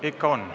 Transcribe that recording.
Ikka on.